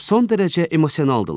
Son dərəcə emosionaldırlar.